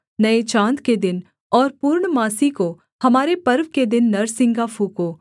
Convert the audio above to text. नये चाँद के दिन और पूर्णमासी को हमारे पर्व के दिन नरसिंगा फूँको